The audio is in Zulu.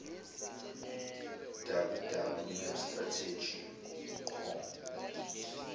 www mapstrategy com